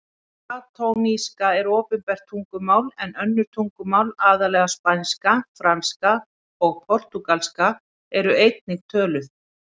Katalónska er opinbert tungumál en önnur tungumál, aðallega spænska, franska og portúgalska, eru einnig töluð.